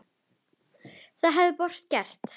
Það hefði borgin gert.